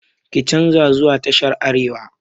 Ki canza zuwa tashar arewa!